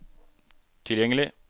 tilgjengelig